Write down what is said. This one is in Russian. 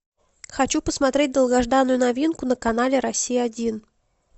хочу посмотреть долгожданную новинку на канале россия один